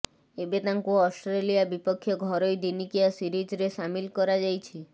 ଏବେ ତାଙ୍କୁ ଅଷ୍ଟ୍ରେଲିଆ ବିପକ୍ଷ ଘରୋଇ ଦିନିକିଆ ସିରିଜ୍ରେ ସାମିଲ କରାଯାଇଛି